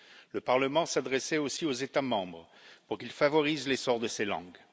Le Parlement s'adressait aussi aux États membres pour qu'ils favorisent l'essor de ces langues.